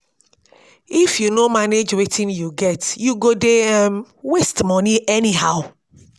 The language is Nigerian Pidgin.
if yu no manage wetin yu get yu go dey um waste money anyhow.